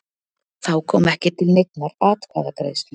Þá kom ekki til neinnar atkvæðagreiðslu